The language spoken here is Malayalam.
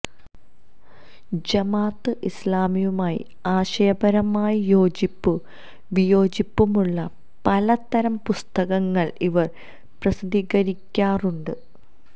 ജമാഅത്തെ ഇസ്ലാമിയുമായി ആശയപരമായി യോജിപ്പും വിയോജിപ്പുമുള്ള പലതരം പുസ്തകങ്ങള് ഇവര് പ്രസിദ്ധീകരിക്കാറുമുണ്ട്